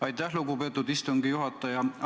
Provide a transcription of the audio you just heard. Aitäh, lugupeetud istungi juhataja!